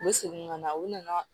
U bɛ segin ka na u nana